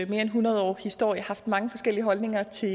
mere end hundrede årige historie har haft mange forskellige holdninger til